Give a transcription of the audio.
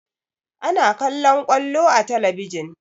Ana kallaon ƙwallo a talabijin